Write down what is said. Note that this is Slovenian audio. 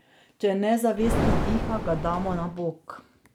Če nezavestni diha, ga damo na bok.